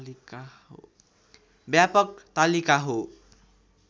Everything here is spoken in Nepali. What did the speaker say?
व्यापक तालिका हो